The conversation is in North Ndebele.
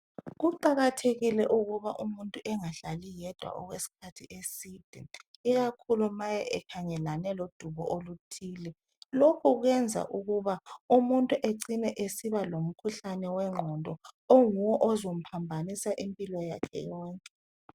Kuqakathekile ukuba umuntu engahlali yedwa okwesikhathi eside, ikakhulu ma ekhangelane lodubo oluthile. Lokhu kwenza umuntu ecine esiba lomkhuhlane wengqondo oyiwo ozomphambanisa impilo yakhe yonke.